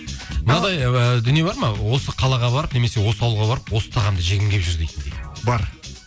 мынадай і дүние бар ма осы қалаға барып немесе осы ауылға барып осы тағамды жегім келіп жүр дейтіндей бар